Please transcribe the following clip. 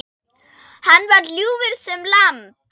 Hann var ljúfur sem lamb.